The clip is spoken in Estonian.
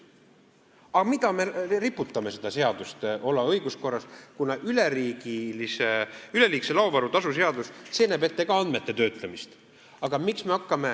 Aga miks me jätame selle seaduse õiguskorda rippuma, kui üleliigse laovaru tasu seadus näeb ka ette andmete töötlemist?